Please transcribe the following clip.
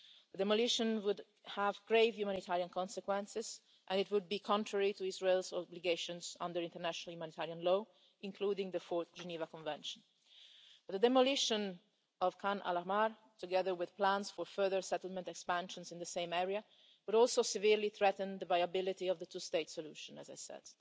That demolition would have grave humanitarian consequences and it would be contrary to Israel's obligations under international humanitarian law, including the Fourth Geneva Convention. The demolition of Khan al Ahmar, together with plans for further settlement expansions in the same area, would also severely threaten the viability of the two state solution, as I said.